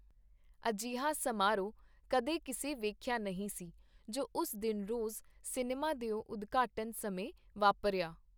ਅਜਿਹਾ ਸਮਾਰੋਹ ਕਦੇ ਕਿਸੇ ਵੇਖਿਆ ਨਹੀਂ ਸੀ, ਜੋ ਉਸ ਦਿਨ ਰੋਜ਼ ਸਿਨੇਮਾ ਦਿਓ ਉਦਘਾਟਨ ਸਮੇਂ ਵਾਪਰਿਆ.